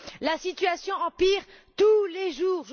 La situation empire tous les jours.